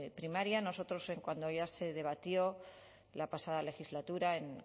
primaria nosotros cuando ya se debatió la pasada legislatura en